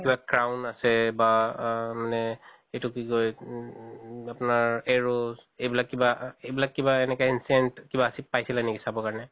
কিবা crown আছে বা মানে এইটো কি কয় উম আপোনাৰ arrows এইবিলাক কিবা এনেকা ancient কিবা পাইছিলা নেকি চাব কাৰণে?